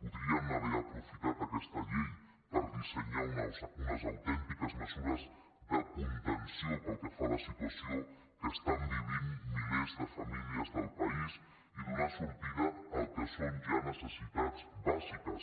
podrien haver aprofitat aquesta llei per dissenyar unes autèntiques mesures de contenció pel que fa a la situació que viuen milers de famílies del país i donar sortida al que són ja necessitats bàsiques